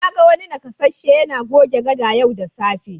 Na ga wani nakasasshe yana goge gada yau da safe.